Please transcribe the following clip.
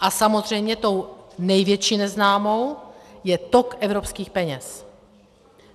A samozřejmě tou největší neznámou je tok evropských peněz.